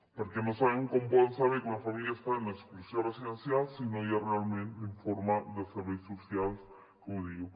perquè no sabem com poden saber que una família està en exclusió residencial si no hi ha realment l’informe dels serveis socials que ho diu